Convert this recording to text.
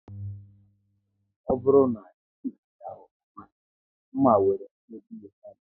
Ọ bụrụ na e jighị ya ofuma, nma nwere ike iyi mmadụ